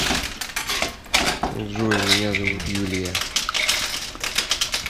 джой меня зовут юлия